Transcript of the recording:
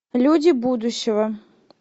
люди будущего